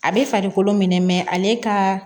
A bɛ farikolo minɛ ale ka